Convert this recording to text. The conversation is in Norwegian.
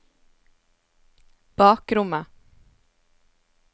bakrommet